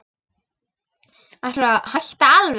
Ætlarðu að hætta alveg.